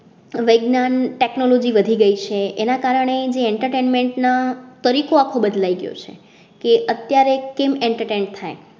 વેગનયન technology વધી ગઈ છે એના કારણે entertainment ના. તરીકો આખો બદલાય ગયો છે કે અત્યારે કેમ entertainment થાય,